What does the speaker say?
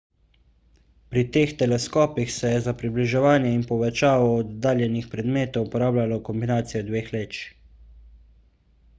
pri teh teleskopih se je za približevanje in povečavo oddaljenih predmetov uporabljalo kombinacijo dveh leč